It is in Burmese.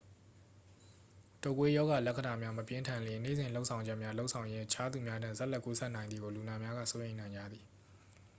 တုပ်ကွေး ရောဂါလက္ခဏာများ မပြင်းထန်လျှင် နေ့စဉ်လုပ်ဆောင်ချက်များ လုပ်ဆောင်ရင်း အခြားလူများထံ ဆက်လက်ကူးစက်နိုင်သည်ကို လူနာများက စိုးရိမ်နေကြသည်